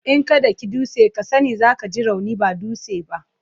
In ka daki dutse, kai sa ne za ka ji rauni ba dutsen ba.